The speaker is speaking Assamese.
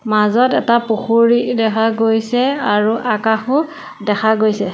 মাজত এটা পুখুৰী দেখা গৈছে আৰু আকাশো দেখা গৈছে।